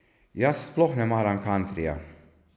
Jaz sploh ne maram kantrija.